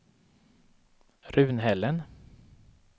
Runhällen